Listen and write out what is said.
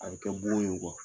A bɛ kɛ bon ye nkɔ.